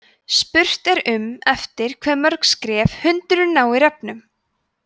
spurt er um eftir hve mörg skref hundurinn nái refnum